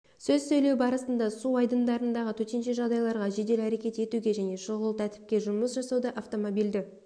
сөз сөйлеу барысында су айдындарындағы төтенше жағдайларға жедел әрекет етуге және шұғыл тәртіпте жұмыс жасауда автомобильді